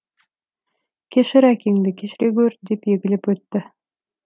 кешір әкеңді кешіре гөр деп егіліп өтті